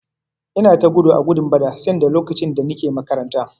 Ina ta gudu a gudun bada sanda lokacin da Nike makaranta.